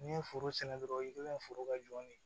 N'i ye foro sɛnɛ dɔrɔn i bɛ foro ka jɔni ye